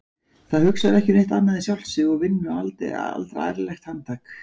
Það hugsar ekki um neitt annað en sjálft sig og vinnur aldrei ærlegt handtak.